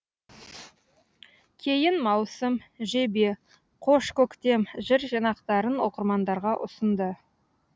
кейін маусым жебе қош көктем жыр жинақтарын оқырмандарға ұсынды